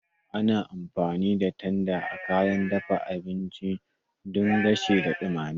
Ana amfani da tanda azaman kayan dafa abinci don gasawa da dumama.